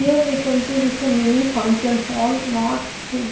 Here we can see this is a mini function hall not a--